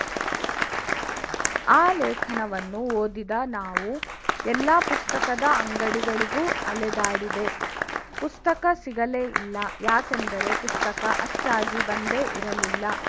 ಆ ಲೇಖನವನ್ನು ಓದಿದ ನಾವು ಎಲ್ಲಾ ಪುಸ್ತಕದ ಅಂಗಡಿಗಳಿಗೂ ಅಲೆದಾಡಿದೆ ಪುಸ್ತಕ ಸಿಗಲೇ ಇಲ್ಲ ಯಾಕೆಂದರೆ ಪುಸ್ತಕ ಅಚ್ಚಾಗಿ ಬಂದೇ ಇರಲಿಲ್ಲ